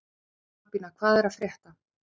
Albína, hvað er að frétta?